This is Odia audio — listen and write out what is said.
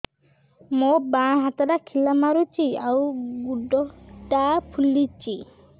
ମୋ ବାଆଁ ହାତଟା ଖିଲା ମାରୁଚି ଆଉ ଗୁଡ଼ ଟା ଫୁଲୁଚି